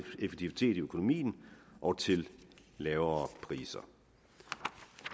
effektivitet i økonomien og til lavere priser